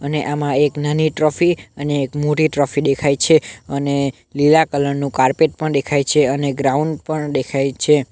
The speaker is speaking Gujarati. અને આમાં એક નાની ટ્રોફી અને એક મોટી ટ્રોફી દેખાય છે અને લીલા કલર નું કારપેટ પણ દેખાય છે અને ગ્રાઉન્ડ પણ દેખાય છે.